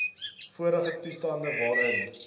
vorige toestand waarin